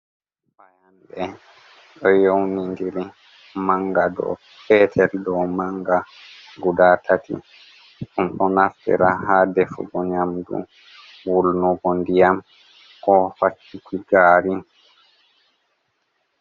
Fayanɗe ɗo yownidiri manga dou petel dou manga guda tati ɗum ɗo naftira ha defugo nyamdu, wulnugo ndiyam ko faccuki gaari.